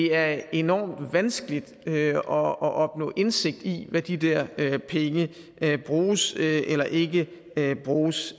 er enormt vanskeligt at opnå indsigt i hvad de der penge bruges eller ikke bruges